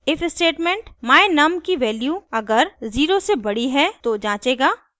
if statement my_num की value अगर 0 से बड़ी है तो जंचेगा